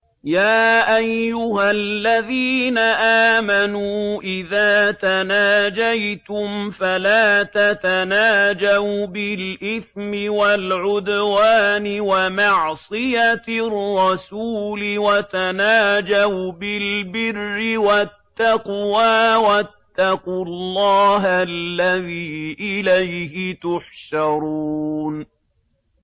يَا أَيُّهَا الَّذِينَ آمَنُوا إِذَا تَنَاجَيْتُمْ فَلَا تَتَنَاجَوْا بِالْإِثْمِ وَالْعُدْوَانِ وَمَعْصِيَتِ الرَّسُولِ وَتَنَاجَوْا بِالْبِرِّ وَالتَّقْوَىٰ ۖ وَاتَّقُوا اللَّهَ الَّذِي إِلَيْهِ تُحْشَرُونَ